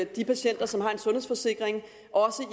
de patienter som har en sundhedsforsikring